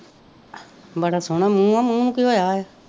ਬੜਾ ਸੋਹਣਾ ਮੂੰਹ ਹੈ, ਮੂੰਹ ਨੂੰ ਕੀ ਹੋਇਆ ਹੈ